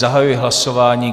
Zahajuji hlasování.